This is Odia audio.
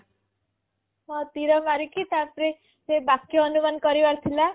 ହଁ ତୀର ମାରିକି ତାପରେ ସେ ବାକ୍ୟ ଅନୁମାନ କରିବାର ଥିଲା